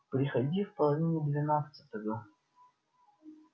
приходи в половине двенадцатого